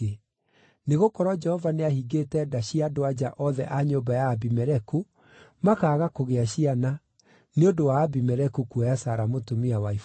nĩgũkorwo Jehova nĩahingĩte nda cia andũ-a-nja othe a nyũmba ya Abimeleku, makaaga kũgĩa ciana, nĩ ũndũ wa Abimeleku kuoya Sara mũtumia wa Iburahĩmu.